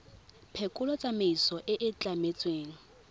phekolo tsamaiso e e tlametsweng